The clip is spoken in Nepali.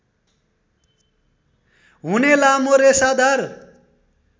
हुने लामो रेसादार